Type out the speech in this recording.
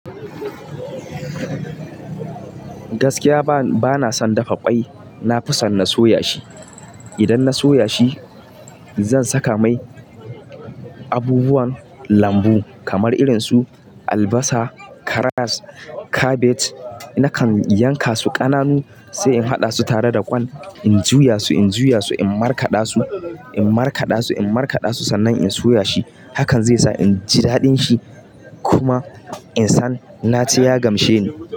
Gaskiya bana son dafa kwai. Na fi son na soya shi. Idan na soya shi, zan saka mai abubuwan lambu kamar irin su albasa, karas, kabej. Nakan yanka su ƙananu, sai in haɗa su tare da ƙwan in juya su, in juya su, in markaɗa su, in markaɗa su, in markaɗa su sannan in soya shi. Hakan zai sa inji daɗin shi, kuma insan naci ya gamshe ni.